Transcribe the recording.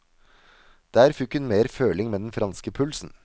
Der fikk hun mer føling med den franske pulsen.